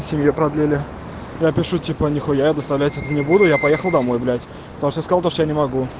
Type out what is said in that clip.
семья продлили напишу типа нехуя это оставлять это не буду я поехал домой блять потому что искал